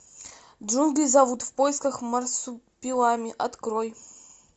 джунгли зовут в поисках марсупилами открой